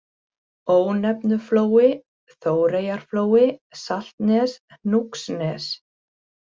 Ónefnuflói, Þóreyjarflói, Saltnes, Hnúksnes